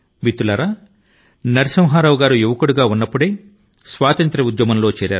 మిత్రులారా నరసింహా రావు వారి యొక్క యవ్వన దశ లోనే స్వాతంత్ర్య ఉద్యమం లో చేరిపోయారు